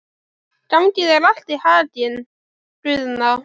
Gangi þér allt í haginn, Guðna.